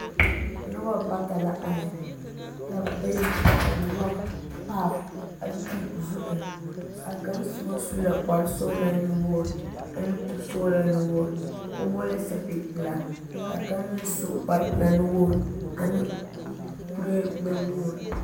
Noba bata la are ka bayi nyɔge paap a kyuli zu eŋ ba kaŋ soba su la kpare sɔgelaa nu-wogiri ane kuri sɔgelaa nu-wogiri o vɔgelɛɛ sapigi pelaa ka a kaŋ meŋ su kpare pelaa nu-wogiri ane kuree gbɛ-wogiri.